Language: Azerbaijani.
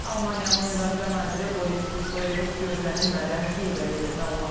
Almaniyanın Müdafiə naziri Boris Pistorius gözlənilmədən Kiyevə gedib.